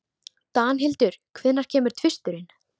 Danhildur, hvenær kemur tvisturinn?